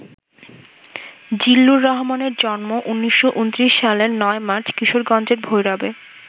জিল্লুর রহমানের জন্ম ১৯২৯ সালের ৯ মার্চ কিশোরগঞ্জের ভৈরবে।